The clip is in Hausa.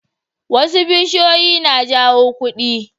Wasu bishiyoyin na jawo kudi.